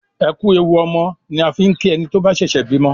"ẹkú ẹwù ọmọ" ni a fín ki ẹní tó bà ṣẹṣẹ bímọ